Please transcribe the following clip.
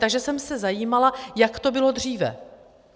Takže jsem se zajímala, jak to bylo dříve.